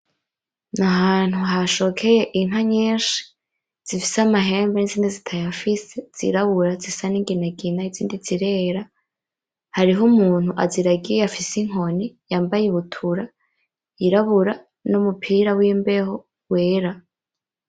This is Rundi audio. N'Ahantu hashokeye Inka nyinshi zifise Amahembe, n'izindi zitayafise zirabura zisa ningingina izindi zirera, hariho Umuntu aziragiye afise inkoni yambaye ibutura y'irabura numupira wimbeho wera.